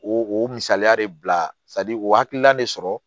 O o misaliya de bila o hakilina de sɔrɔ